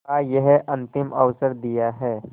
का यह अंतिम अवसर दिया है